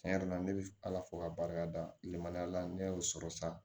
Tiɲɛ yɛrɛ la ne bɛ ala fo k'a barikada lenmaniya la ne y'o sɔrɔ sa